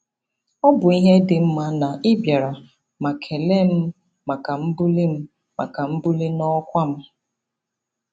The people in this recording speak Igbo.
Ọ bụ ezi ihe dị mma na ị bịara ma kelee m maka mbuli m maka mbuli n'ọkwa m.